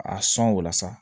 A sɔn o la sa